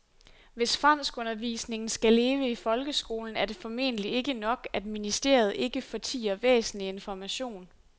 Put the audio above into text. Hvis franskundervisningen skal leve i folkeskolen er det formentlig ikke nok, at ministeriet ikke fortier væsentlig information.